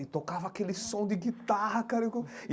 E tocava aquele som de guitarra, cara.